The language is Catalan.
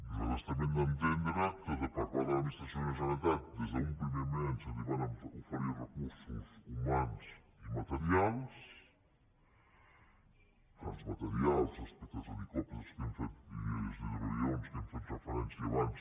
nosaltres també hem d’entendre que per part de l’administració de la generalitat des d’un primer moment se li van oferir recursos humans i materials els materials respecte als helicòpters i als hidroavions a què hem fet referència abans